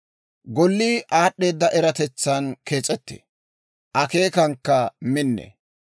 Gollii aad'd'eeda eratetsan kees'ettee; akeekankka minnee.